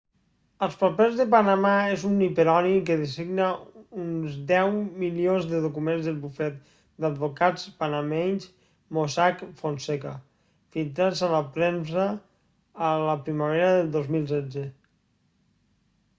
els papers de panamà és un hiperònim que designa uns deu milions de documents del bufet d'advocats panameny mossack fonseca filtrats a la premsa a la primavera del 2016